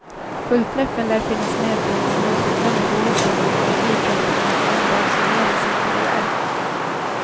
Fullträffen lär finnas med bland de oförglömliga åken när skiddrottningen en dag summerar sin karriär.